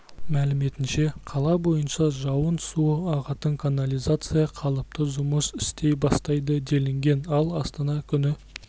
мәліметінше қала бойынша жауын суы ағатын канализация қалыпты жұмыс істей бастайды делінген ал астана күні